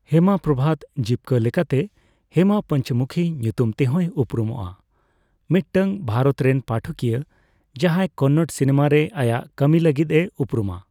ᱦᱮᱢᱟ ᱯᱨᱚᱵᱷᱟᱛ, ᱡᱤᱵᱽᱠᱟᱹ ᱞᱮᱠᱟᱛᱮ ᱦᱮᱢᱟ ᱯᱚᱧᱪᱚᱢᱩᱠᱷᱤ ᱧᱩᱛᱩᱢ ᱛᱮᱦᱚᱸᱭ ᱩᱯᱨᱩᱢᱚᱜᱼᱟ, ᱢᱤᱫᱴᱟᱝ ᱵᱷᱟᱨᱚᱛ ᱨᱮᱱ ᱯᱟᱴᱷᱚᱠᱤᱭᱟᱹ ᱡᱟᱦᱟᱸᱭ ᱠᱚᱱᱱᱚᱲ ᱥᱤᱱᱮᱢᱟ ᱨᱮ ᱟᱭᱟᱜ ᱠᱟᱹᱢᱤ ᱞᱟᱹᱜᱤᱫᱼᱮ ᱩᱯᱨᱩᱢᱟ ᱾